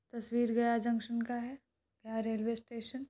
तस्वीर गया जंक्शन का है गया रेल्वे स्टेशन --